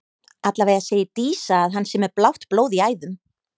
Allavega segir Dísa að hann sé með blátt blóð í æðum.